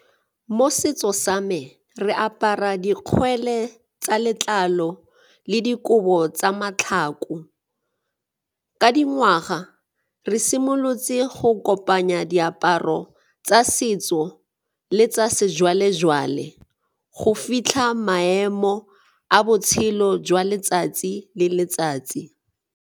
Mo setso sa me, re apara dikgwele tsa letlalo le dikobo tsa matlhako. Ka dingwaga re simolotse go o kopanya diaparo tsa setso le tsa sejwalejwale go fitlha maemo a botshelo jwa letsatsi le letsatsi.